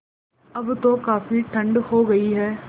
अब तो काफ़ी ठण्ड हो गयी है